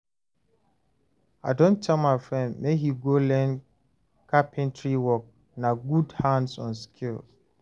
I don tell my friend make he go learn carpentry work, na good hands-on skill